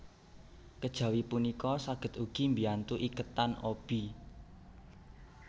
Kejawi punika saged ugi mbiyantu iketan obi